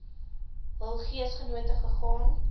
hul geesgenote gegaan